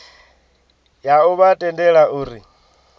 ya u vha tendela uri